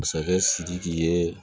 Masakɛ sidiki ye